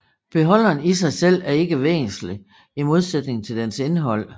Beholderen i sig selv er ikke væsentlig i modsætning til dens indhold